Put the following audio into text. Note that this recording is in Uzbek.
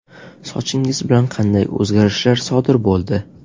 Sochingiz bilan qanday o‘zgarishlar sodir bo‘ldi?